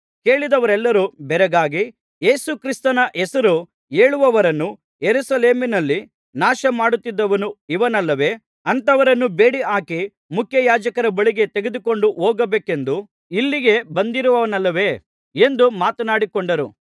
ಕೇಳಿದವರೆಲ್ಲರು ಬೆರಗಾಗಿ ಯೇಸುಕ್ರಿಸ್ತನ ಹೆಸರು ಹೇಳುವವರನ್ನು ಯೆರೂಸಲೇಮಿನಲ್ಲಿ ನಾಶಮಾಡುತ್ತಿದ್ದವನು ಇವನಲ್ಲವೇ ಅಂಥವರನ್ನು ಬೇಡಿಹಾಕಿಸಿ ಮುಖ್ಯಯಾಜಕರ ಬಳಿಗೆ ತೆಗೆದುಕೊಂಡು ಹೋಗಬೇಕೆಂದು ಇಲ್ಲಿಗೆ ಬಂದಿರುವನಲ್ಲವೇ ಎಂದು ಮಾತನಾಡಿಕೊಂಡರು